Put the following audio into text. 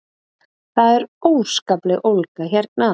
Það er óskapleg ólga hérna